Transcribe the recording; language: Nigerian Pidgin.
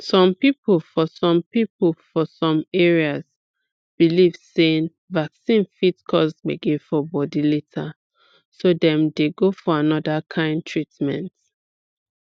some people for some people for some areas believe sey vaccine fit cause gbege for body later so dem dey go for another kind treatment